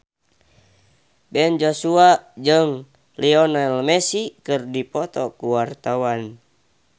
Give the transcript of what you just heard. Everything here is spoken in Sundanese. Ben Joshua jeung Lionel Messi keur dipoto ku wartawan